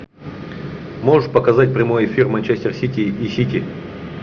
можешь показать прямой эфир манчестер сити и сити